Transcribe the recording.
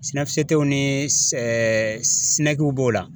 SYNEFCT ni SYNEC b'o la.